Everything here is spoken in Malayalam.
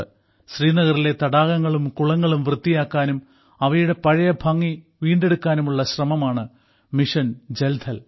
ശ്രീനഗറിലെ തടാകങ്ങളും കുളങ്ങളും വൃത്തിയാക്കാനും അവയുടെ പഴയ ഭംഗി വീണ്ടെടുക്കാനുമായുള്ള ശ്രമമാണ് മിഷൻ ജൽ ഥൽ